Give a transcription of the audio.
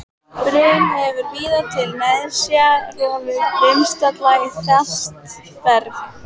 Brim hefur víða til nesja rofið brimstalla í fast berg.